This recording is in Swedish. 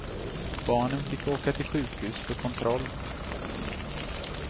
Barnen fick åka till sjukhus för kontroll.